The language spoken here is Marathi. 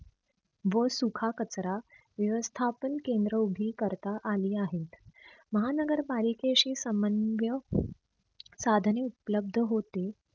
व सुखा कचरा व्यवस्थापन केंद्र उभी करता आली आहेत. महानगर पालिकेशी समानव्य साधने उपलब्ध होते.